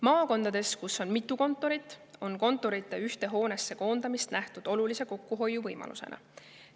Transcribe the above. Maakondades, kus on mitu kontorit, on kontorite ühte hoonesse koondamist nähtud olulise kokkuhoiuvõimalusena.